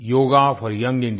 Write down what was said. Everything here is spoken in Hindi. yoga for young India